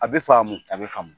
A be faamu . A be faamu.